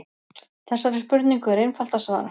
Þessari spurningu er einfalt að svara.